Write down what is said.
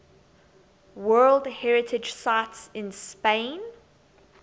world heritage sites in spain